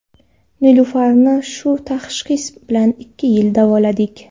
Nilufarni shu tashxis bilan ikki yil davolatdik.